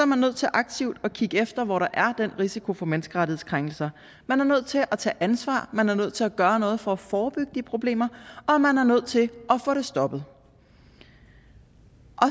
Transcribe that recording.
man nødt til aktivt at kigge efter hvor der er den risiko for menneskerettighedskrænkelser man er nødt til at tage ansvar man er nødt til at gøre noget for at forebygge de problemer og man er nødt til at få det stoppet